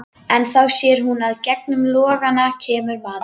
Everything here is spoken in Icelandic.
En þá sér hún að í gegnum logana kemur maður.